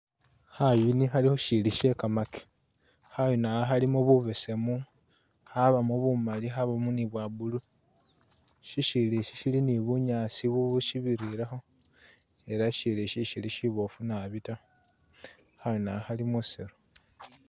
Khayuni khali khu shiyili sye kamake. Khayuni akha khalimo bubesemu, khabamu bumali, khabamo ni bwa blue. Syisyiyili isyi syili ni bunyaasi bubu shibirirekho ela isyiyili ishi ishili shiboofu nabi ta. Khayuni akha khali musiiru.